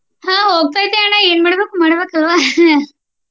ಆಹ್ ಹೋಗ್ತೇತಿ ಅಣ್ಣಾ ಏನ ಮಾಡ್ಬೇಕು ಮಾಡ್ಬೇಕ ಅಲ್ವಾ